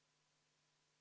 V a h e a e g